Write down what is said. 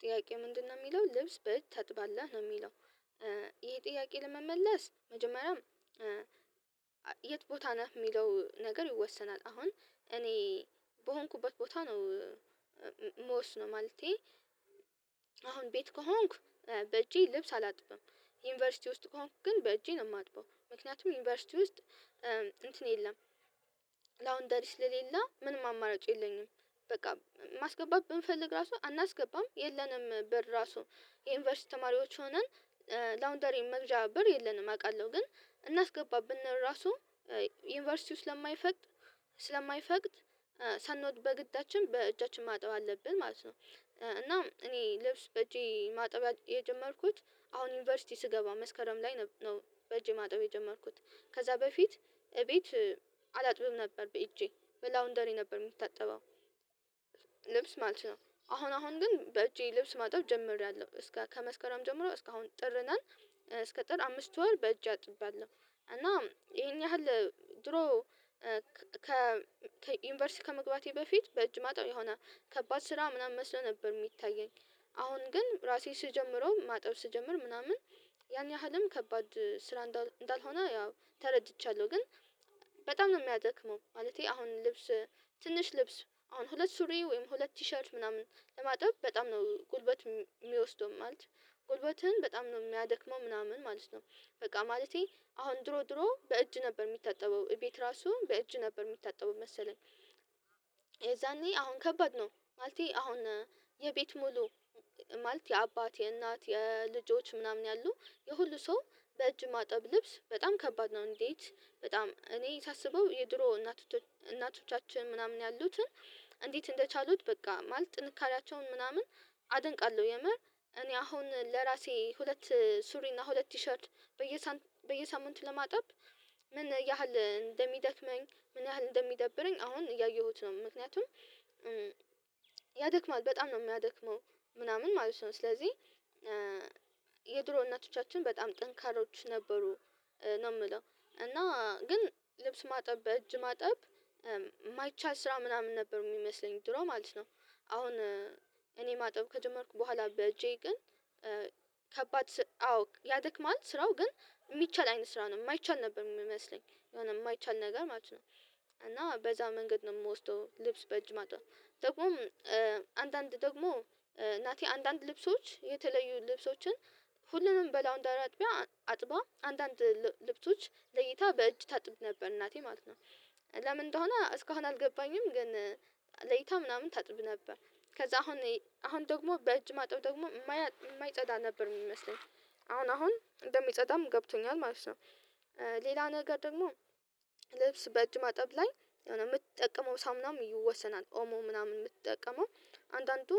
ጥያቄ ምንድነው የሚለው ልብስ በእጅ ታጥባለህ ነው የሚለው? ይሄ ጥያቄ ለመመለስ መጀመሪያም የት ቦታ ነህ የሚለው ነገር ይወሰናል አሁን እኔ በሆንኩበት ቦታ ነው። ምወስነው ማለቴ አሁን ቤት ከሆንኩ በእጄ ልብስ አላጥብም ዩኒቨርሲቲ ውስጥ ከሆንኩ ግን በእጄ ነው የማጥበው ምክንያቱም ዩኒቨርሲቲ ውስጥ እንትን የለም ላውደሪ ስለሌለ ምንም አማራጭ የለኝም። በቃ ማስገባት ብንፈልግ ራሱ አናስገባም የለንም ብር ራሱ የዩኒቨርሲቲ ተማሪዎች ሆነን ላውንደሪን መግዣ ብር የለንም አውቃለሁ ግን እናስገባብንል ራሱ ዩኒቨርሲቲው ስለማይፈቅድ ስለማይፈቅድ ሳንወድ በግድያችን በእጃችን ማጠብ አለብን ማለት ነው። እና እኔ ልብስ በእጄ ማጠብ የጀመርኩት አሁን ዩኒቨርሲቲ ስገባ መስከረም ላይ ነው በጄ ማጠብ የጀመርኩት ከዛ በፊት እቤት አላጥብም ነበር በእጄ በላውንደሪ ነበር የምትጠበው ልብስ ማለት ነው። አሁን አሁን ግን በእጄ ልብስ ማጨብ ጀምሬያለሁ እስከ ከመስከረም ጀምሮ እስከ አሁን ጥር ነን እስከ ጥር አምስት ወር በእጅ አጥባለሁ። እና ይሄን ያህል ድሮ ከ ከዩኒቨርሲቲ ከመግባቴ በፊት በእጅ ማጠብ የሆነ ከባድ ስራ ምናምን መስሎ ነበር የሚታየኝ አሁን ግን ራሴ ስጀምረው ማጠብ ስጀምር ምናምን ያን ያህልም ከባድ ስራ እንዳልሆነ ያው ተረድቻለሁ። ግን በጣም ነው የሚያደክመው ማለቴ አሁን ልብስ ትንሽ ልብስ አሁን ሁለት ሱሪ ወይም ሁለት ቲሸርት ምናምን ለማጥበብ በጣም ነው ጉልበት የሚወስደው ማለት ጉልበትን በጣም ነው የሚያደክመው ምናምን ማለት ነው። በቃ ማለቴ አሁን ድሮ ድሮ በእጅ ነበር የሚታጠበው እቤት ራሱ በእጅ ነበር የሚታጠበው መሰለኝ። የዛኔ አሁን ከባድ ነው ማለቴ አሁን የቤት ሙሉ ማለት የአባት የእናት የልጆች ምናምን ያሉ የሁሉ ሰው በእጅ ማጠብ ልብስ በጣም ከባድ ነው። እንዴት በጣም እኔ የሳስበው የድሮ እናቶቶች እናቶቻችን ምናምን ያሉትን እንዴት እንደቻሉት በቃ ማለት ጥንካሬያቸውን ምናምን አደንቃለሁ። የመር እኔ አሁን ለራሴ ሁለት ሱሪ እና ሁለት ቲሸርት በየሳምንት ለማጠብ ምን ያህል እንደሚደክመኝ ምን ያህል እንደሚደብረኝ አሁን እያየሁት ነው ምክንያቱም ያደክማል በጣም ነው የሚያደክመው። ምናምን ማለት ነው ስለዚህ የድሮ እናቶቻችን በጣም ጠንካሮች ነበሩ ነው የምለው እና ግን ልብስ ማጠብ በእጅ ማጠብ የማይቻል ስራ ምናምን ነበር የሚመስለኝ ድሮ ማለት ነው። አሁን እኔ ማጠብ ከጀመርኩ በኋላ በጄ ግን ከባድ አዎ ያደክማል ስራው ግን ኢሚቻል አይነት ስራ ነው የማይቻል ነበር የሚመስለኝ የሆነ የማይቻል ነገር ማለት ነው። እና በዛ መንገድ ነው የምወስደው ልብስ በእጅ ማጠብ ደግሞም አንዳንድ ደግሞ እናቴ አንዳንድ ልብሶች የተለዩ ልብሶችን ሁሉንም በላውንድ አጥቢያ አጥቧ አንዳንድ ልብቶች ለይታ በእጅ ታጥብ ነበር እናቴ ማለት ነው። ለምን እንደሆነ እስካሁን አልገባኝም ግን ለይታ ምናምን ታጥብ ነበር። ከዛ አሁን አሁን ደግሞ በእጅ ማጠብ ደግሞ የማይጸዳ ነበር የሚመስለኝ አሁን አሁን እንደሚጸዳም ገብቶኛል ማለት ነው። ሌላ ነገር ደግሞ ልብስ በእጅ ማጠብ ላይ የሆነ የምትጠቀመው ሳምናም ይወሰናል ኦሞ ምናምን የምትጠቀመው አንዳንዱ